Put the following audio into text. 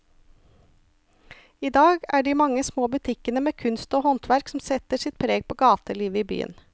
I dag er det de mange små butikkene med kunst og håndverk som setter sitt preg på gatelivet i byen.